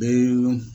Bɛɛ